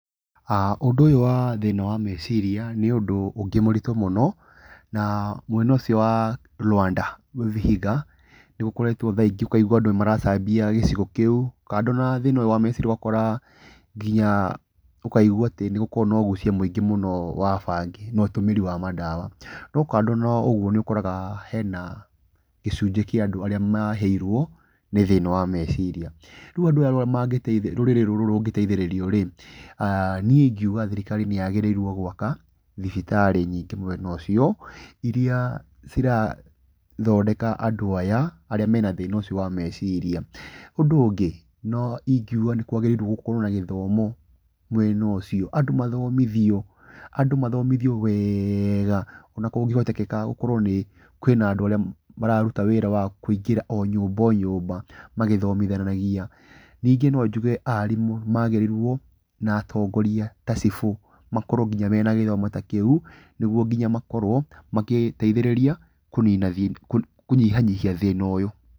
Ũndũ ũyũ wa thĩna wa meciria nĩ ũndũ ũngĩ mũritũ mũno, na mwena ũcio wa Luanda, Vihiga, nĩ gũkoretwo thaa ingĩ, ũkaigua andũ nĩ maracambia gĩcigo kĩu, kando na thĩna ũyũ wa meciria ũgakora atĩ, ũkaigua nĩ gũkoragwo na ũgucia mũingĩ mũno wa bangi, na ũtũmĩri wa mandawa. Na ũkona nĩ harĩ na gĩcunjĩ kia andũ arĩa mahĩirwo nĩ thĩna wa meciria. Rĩu ũria rũrĩrĩ rũrũ rũngĩteithĩrĩrio rĩ, niĩ inguga thirikari nĩ yagĩrĩirwo gwaka tibitarĩ nyingĩ mwena ũcio, irĩa cirathondeka andũ aya arĩa mena thĩna wa meciria. Ũndũ ũngĩ, no, inguga nĩ kwagĩrĩirwo gũkorwo na gĩthomo mwena ũcio, andũ mathomithio, andũ mathomithio wega, ona kũngĩhotekeka gũkorwo kwina andũ arĩa maruta wĩra wa kũingĩra o nyumba o nyumba magĩthomithanagia. Ningĩ no njuge arimũ magĩrĩirwo, na atongoria ta cibũ, makorwo nginya mena gĩthomo ta kĩu, nĩguo makorwo magĩteithĩrĩria kũnina, kũnyihanyihia thĩna ũyũ.